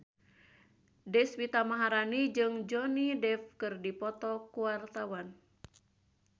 Deswita Maharani jeung Johnny Depp keur dipoto ku wartawan